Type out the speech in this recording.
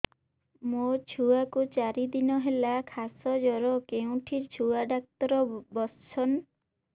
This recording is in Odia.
ମୋ ଛୁଆ କୁ ଚାରି ଦିନ ହେଲା ଖାସ ଜର କେଉଁଠି ଛୁଆ ଡାକ୍ତର ଵସ୍ଛନ୍